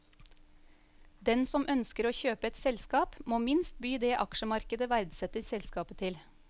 Den som ønsker å kjøpe et selskap må minst by det aksjemarkedet verdsetter selskapet til.